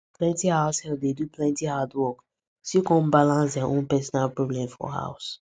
plenty house help dey do plenty hard work still come balance dia own peronal problem for house